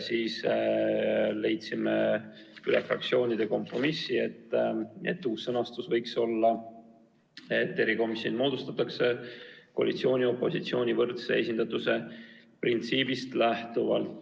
Siis aga leidsime fraktsioonides kompromissi, et uus sõnastus võiks olla, et erikomisjon moodustatakse koalitsiooni-opositsiooni võrdse esindatuse printsiibist lähtuvalt.